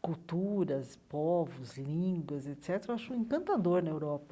culturas, povos, línguas, etc., eu acho encantador na Europa.